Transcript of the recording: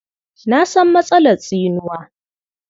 Na san matsalar tsinuwa.